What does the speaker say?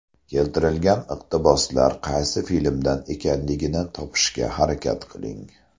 Keltirilgan iqtiboslar qaysi filmdan ekanligini topishga harakat qiling.